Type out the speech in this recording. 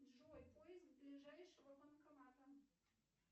джой поиск ближайшего банкомата